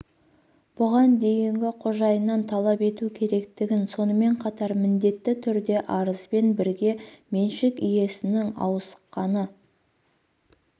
бұған дейінгі қожайыннан талап ету керектігін сонымен қатар міндетті түрде арызбен бірге меншік иесінің ауысқаны